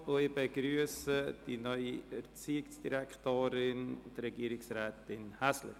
Ich begrüsse die neue Erziehungsdirektorin, Regierungsrätin Häsler.